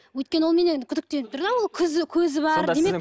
өйткені ол менен күдіктеніп тұр да ол көзі бар демек